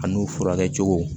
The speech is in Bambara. A n'u furakɛ cogo